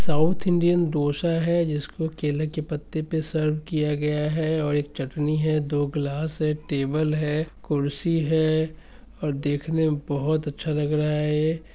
South Indian dosa है जिसको केले के पत्ते पर सर्व किया गया है और एक चटनी है| दो ग्लास है टेबल है खुरसी है और देखने मे बोहोत अच्छा लग रहा है ये ।